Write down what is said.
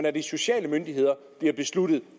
af de sociale myndigheder bliver besluttet